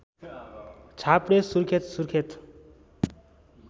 छाप्रे Surkhet Surkhet